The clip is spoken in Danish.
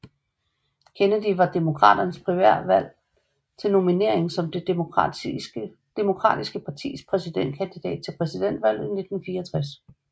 Kennedy ved demokraternes primærvalg til nominering som det demokratiske partis præsidentkandidat til præsidentvalget i 1964